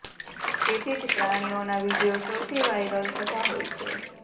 તેથી જ પ્રાણીઓના વીડિયો સૌથી વાયરલ થતા હોય છે